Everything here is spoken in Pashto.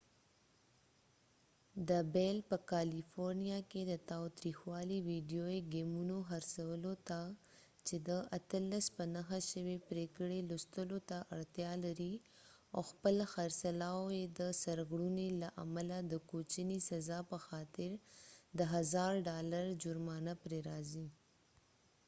دا بیل په کالیفورنیا کې د تاوتریخوالي ویډیویي ګیمونو خرڅولو ته چې د 18 په نښه شوي پرېکړې لوستلو ته اړتیا لري او خپل خرڅلاو یې د سرغړونې له امله د کوچنۍ سزا په خاطر د 1000 ډالر جرمانه پرې راځي